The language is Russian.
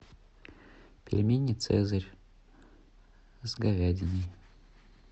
пельмени цезарь с говядиной